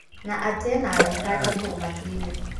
Na atĩ ena araika ake kũu matuinĩ